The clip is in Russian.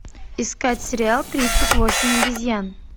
искать сериал тридцать восемь обезьян